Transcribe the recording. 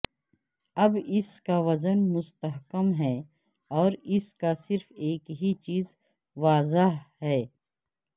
اب اس کا وزن مستحکم ہے اور اس کا صرف ایک ہی چیز واضح ہے